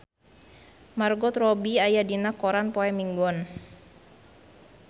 Margot Robbie aya dina koran poe Minggon